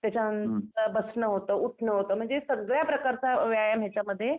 त्याच्यानंतर बसणं होतं उठणं होतं म्हणजे सगळ्या प्रकारचा व्यायाम याच्यामध्ये